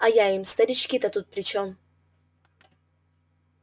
а я им старички-то тут при чём